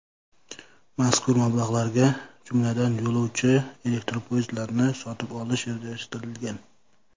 Mazkur mablag‘larga, jumladan, yo‘lovchi elektropoyezdlarini sotib olish rejalashtirilgan.